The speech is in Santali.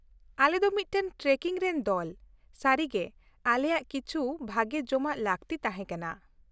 ᱟᱞᱮ ᱫᱚ ᱢᱤᱫᱴᱟᱝ ᱴᱨᱮᱠᱤᱝ ᱨᱮᱱ ᱫᱚᱞ; ᱥᱟᱹᱨᱤ ᱜᱮ ᱟᱞᱮᱭᱟᱜ ᱠᱤᱪᱷᱩ ᱵᱷᱟᱹᱜᱤ ᱡᱚᱢᱟᱜ ᱞᱟᱹᱠᱛᱤ ᱛᱟᱦᱮᱸ ᱠᱟᱱᱟ ᱾